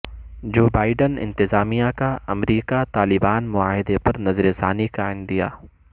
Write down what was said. جوبائیڈ ن انتظامیہ کا امریکہ طالبان معاہدے پر نظر ثانی کا عندیہ